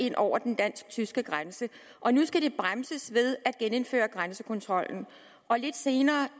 ind over den dansk tyske grænse og nu skal det bremses ved at genindføre grænsekontrollen lidt senere